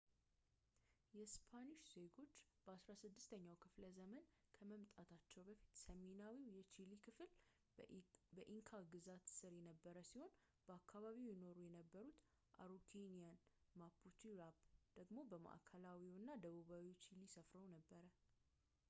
የስፓኒሽ ዜጉች በአስራስድስተኛው ክፍለ ዘመን ከመምጣታቸው በፊት፣ ሰሜናዊው የቺሊ ክፍል በኢንካ ግዛት ስር ነበር ሲሆን በአካባቢው ይኖሩ የነበሩት araucanians mapucheራኘ ደግሞ በማዕከላዊ አና ደቡባዊ ቺሊ ሰፍረው ነበር